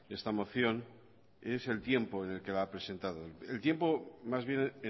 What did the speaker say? esta moción es el tiempo en el que la ha presentado el tiempo más bien